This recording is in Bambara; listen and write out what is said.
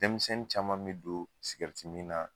Denmisɛnnin caman bɛ don na.